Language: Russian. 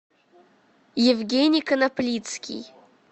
евгений коноплицкий